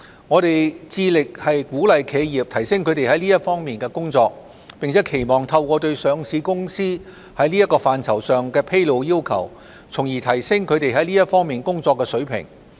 我們致力鼓勵企業提升它們在這些方面的工作，並期望透過對上市公司在這範疇上的披露要求，從而提升它們這些方面工作的水平。